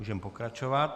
Můžeme pokračovat.